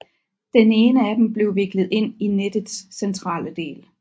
Den ene af dem blev viklet ind i nettets centrale del